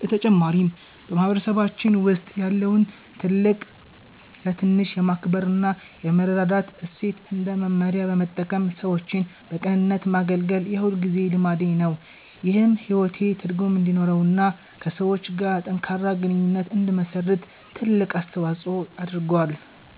በተጨማሪም፣ በማህበረሰባችን ውስጥ ያለውን ትልቅ ለትንሽ የማክበር እና የመረዳዳት እሴት እንደ መመሪያ በመጠቀም ሰዎችን በቅንነት ማገልገል የሁልጊዜ ልማዴ ነው። ይህም ሕይወቴ ትርጉም እንዲኖረውና ከሰዎች ጋር ጠንካራ ግንኙነት እንድመሰርት ትልቅ አስተዋጽኦ አድርጓል።